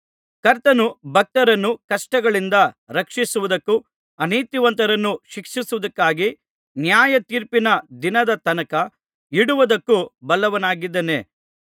ಕರ್ತನು ಭಕ್ತರನ್ನು ಕಷ್ಟಗಳಿಂದ ರಕ್ಷಿಸುವುದಕ್ಕೂ ಅನೀತಿವಂತರನ್ನು ಶಿಕ್ಷಿಸುವುದಕ್ಕಾಗಿ ನ್ಯಾಯತೀರ್ಪಿನ ದಿನದ ತನಕ ಇಡುವುದಕ್ಕೂ ಬಲ್ಲವನಾಗಿದ್ದಾನೆ